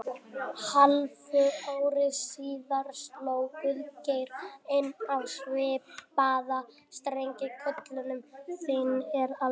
Hálfu ári síðar sló Guðgeir enn á svipaða strengi: Köllun þín er alveg einstæð, vinur.